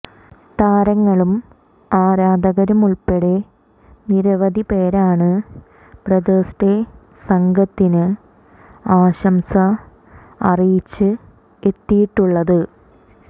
താരങ്ങളും ആരാധകരുമുള്പ്പടെ നിരവധി പേരാണ് ബ്രദേഴ്സ് ഡേ സംഘത്തിന് ആശംസ അറിയിച്ച് എത്തിയിട്ടുള്ളത്